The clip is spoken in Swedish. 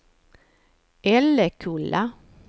Älekulla